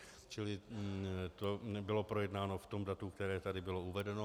Čili to nebylo projednáno v tom datu, které tady bylo uvedeno.